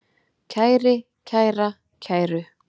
kæri, kæra, kæru